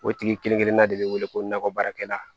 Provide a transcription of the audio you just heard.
O tigi kelen kelenna de bɛ wele ko nakɔ baarakɛla